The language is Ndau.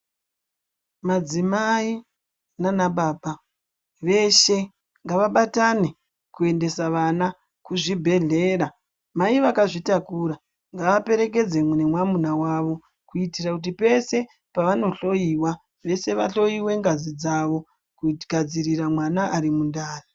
Madzimai nana baba veshe ngava batane kuendesa vana kuzvibhehlera mai vakazvitakura ngava perekedzwe ngemwamuna wavo kuitira kuti pese pavanohloiwa vese vahloiwe ngazi dzavo kugadzirira mwana ari mundani.